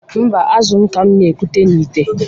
Mba, azụ ka m na-ekute n'ìtè.